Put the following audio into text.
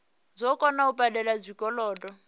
dzo kona u badela zwikolodo